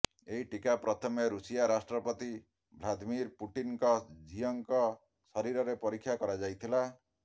ଏହି ଟିକା ପ୍ରଥମେ ଋଷିଆ ରାଷ୍ଟ୍ରପତି ଭ୍ଲାଦମିର ପୁଟିନଙ୍କ ଝିଅଙ୍କ ଶରୀରରେ ପରୀକ୍ଷା କରାଯାଇଥିଲା